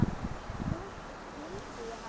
Nú skildi ég hann.